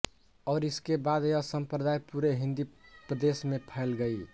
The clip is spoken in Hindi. और इसके बाद यह सम्प्रदाय पूरे हिन्दी प्रदेश में फैल गई